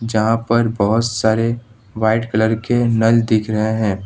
जहां पर बहौत सारे व्हाइट कलर के नल दिख रहे है।